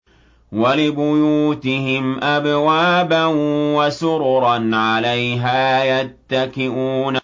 وَلِبُيُوتِهِمْ أَبْوَابًا وَسُرُرًا عَلَيْهَا يَتَّكِئُونَ